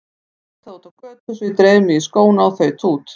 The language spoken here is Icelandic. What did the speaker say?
Það var flautað úti á götu svo ég dreif mig í skóna og þaut út.